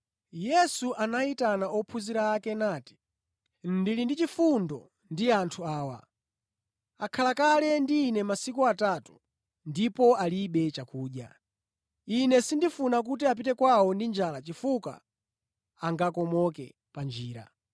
Yesu anayitana ophunzira ake nati, “Ndili ndi chifundo ndi anthu awa; akhala kale ndi Ine masiku atatu ndipo alibe chakudya. Ine sindifuna kuti apite kwawo ndi njala chifukwa angakomoke pa njira.”